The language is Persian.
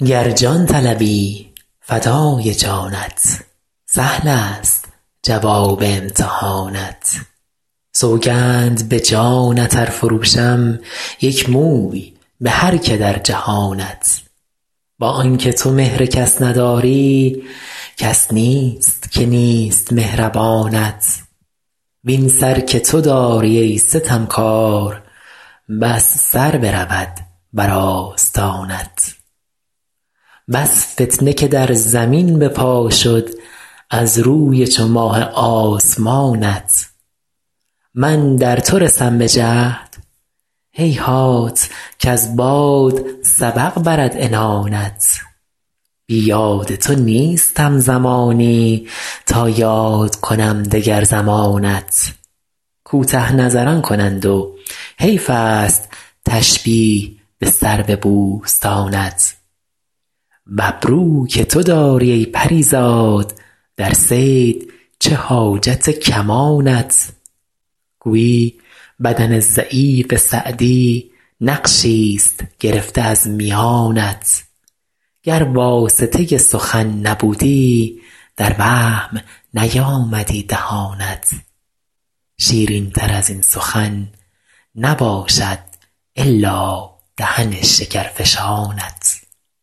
گر جان طلبی فدای جانت سهلست جواب امتحانت سوگند به جانت ار فروشم یک موی به هر که در جهانت با آن که تو مهر کس نداری کس نیست که نیست مهربانت وین سر که تو داری ای ستمکار بس سر برود بر آستانت بس فتنه که در زمین به پا شد از روی چو ماه آسمانت من در تو رسم به جهد هیهات کز باد سبق برد عنانت بی یاد تو نیستم زمانی تا یاد کنم دگر زمانت کوته نظران کنند و حیفست تشبیه به سرو بوستانت و ابرو که تو داری ای پری زاد در صید چه حاجت کمانت گویی بدن ضعیف سعدی نقشیست گرفته از میانت گر واسطه سخن نبودی در وهم نیامدی دهانت شیرینتر از این سخن نباشد الا دهن شکرفشانت